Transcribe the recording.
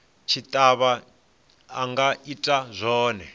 tshitshavha a nga ita zwone